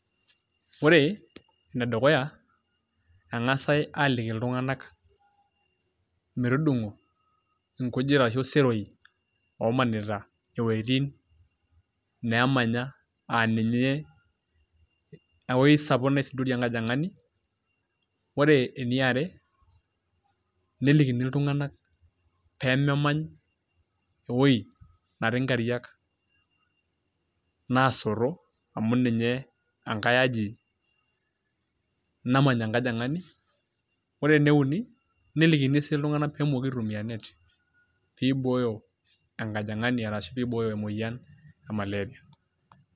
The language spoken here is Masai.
ore ene dukuya, engasi aaliki iltunganak, metudungo inkujit ashu iseroi oomanita iwuejitin neemanya.aa ninye, ewuei sapuk naisudorie enkojingani, ore eniare, nelikini iltungank pee memany ewuei netii nkariak naasoto. amu ninye enkae aji namany enkajingani. ore ene uni nelikini sii iltunganak pee emooki aitumia net pee ibooyo enkajingani ashu pee eibooyo emoyian e maleria.